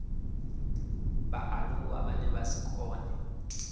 vhaaluwa vhane vha si kone